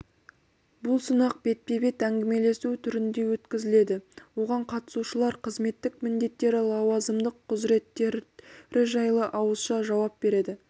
бұл сынақ бетпе-бет әңгімелесу түрінде өткізіледі оған қатысушылар қызметтік міндеттері лауазымдық құзыреттері жайлы ауызша жауап береді